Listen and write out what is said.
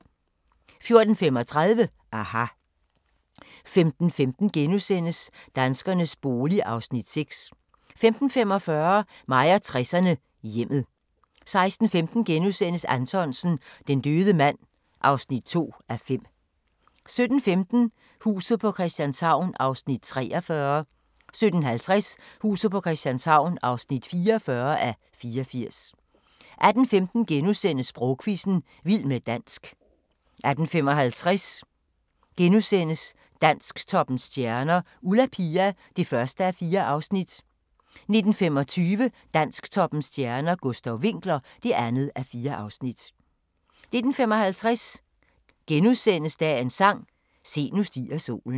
14:35: aHA! 15:15: Danskernes bolig (Afs. 6)* 15:45: Mig og 60'erne: Hjemmet 16:15: Anthonsen - Den døde mand (2:5)* 17:15: Huset på Christianshavn (43:84) 17:50: Huset på Christianshavn (44:84) 18:15: Sprogquizzen – Vild med dansk * 18:55: Dansktoppens stjerner: Ulla Pia (1:4)* 19:25: Dansktoppens stjerner: Gustav Winckler (2:4) 19:55: Dagens sang: Se, nu stiger solen *